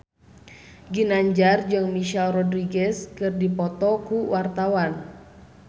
Ginanjar jeung Michelle Rodriguez keur dipoto ku wartawan